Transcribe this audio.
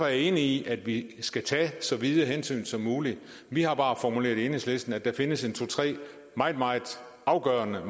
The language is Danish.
jeg enig i at vi skal tage så vide hensyn som muligt vi har bare formuleret i enhedslisten at der findes to tre meget meget afgørende